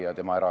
Aitäh!